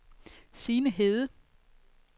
Signe Hede